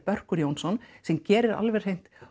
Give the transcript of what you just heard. Börkur Jónsson sem gerir alveg hreint